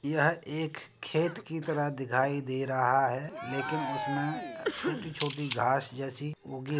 यह एक खेत की तरह दिखाई दे रहा है लेकिन उसमें छोटी-छोटी घास जैसी उगी --